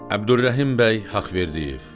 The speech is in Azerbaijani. Əbdürrəhim bəy Haqverdiyev.